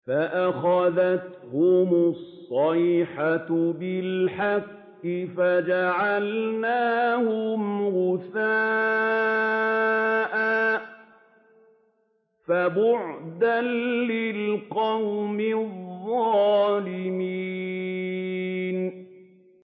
فَأَخَذَتْهُمُ الصَّيْحَةُ بِالْحَقِّ فَجَعَلْنَاهُمْ غُثَاءً ۚ فَبُعْدًا لِّلْقَوْمِ الظَّالِمِينَ